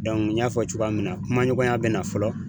n y'a fɔ cogoya min na kumaɲɔgɔnya bɛ na fɔlɔ.